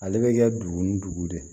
Ale bɛ kɛ dugu ni dugu de ye